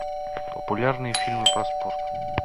популярные фильмы про спорт